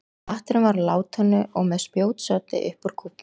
Hatturinn var úr látúni og með spjótsoddi upp úr kúfnum.